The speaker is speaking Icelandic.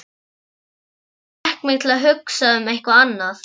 Hörður fékk mig til að hugsa um eitthvað annað.